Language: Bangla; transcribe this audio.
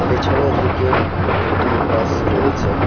পেছনের দিকে দুটি বাস রয়েছে।